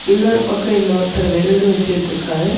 இன்னொரு பக்கம் இன்னொருத்தர் வெல்டு வச்சுட்டுருக்காரு.